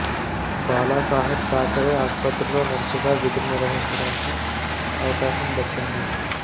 బాలా సాహెబ్ థాకరే ఆసుపత్రిలో నర్సుగా విధులు నిర్వహించడానికి అవకాశం దక్కింది